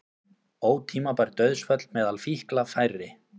Ótímabær dauðsföll meðal fíkla færri